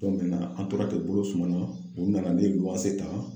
an tora ten bolo sumana u nana ne ta.